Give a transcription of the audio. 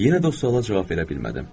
Yenə də o suala cavab verə bilmədim.